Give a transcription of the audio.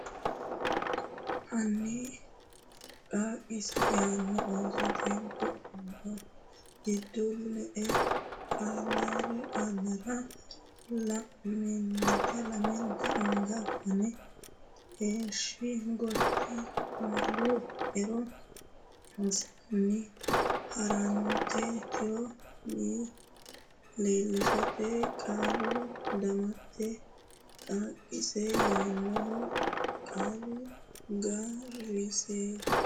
hanni qaaqiissa yaanno Oosote Godo le qaalira lamenta anga fanne heeshshi gotti Qaalu Ero assinanni ha rate tiro wi lishshate qaalu damatte qaaqiiss yaannoho qaalu ga resi g.